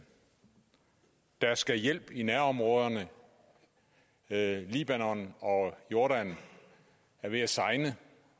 der skal hjælp i nærområderne libanon og jordan er ved at segne